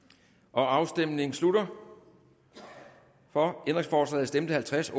afstemningen slutter for stemte halvtreds